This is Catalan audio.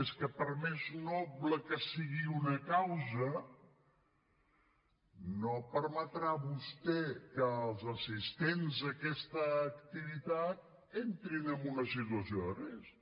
és que per més noble que sigui una causa no permetrà vostè que els assistents a aquesta activitat entrin en una situació de risc